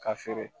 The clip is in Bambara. Ka feere